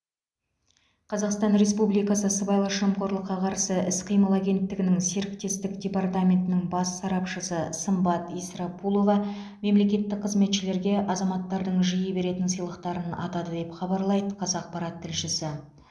қазақстан республикасы сыбайлас жемқорлыққа қарсы іс қимыл агенттігінің серіктестік департаментінің бас сарапшысы сымбат исрапулова мемлекеттік қызметшілерге азаматтардың жиі беретін сыйлықтарын атады деп хабарлайды қазақпарат тілшісі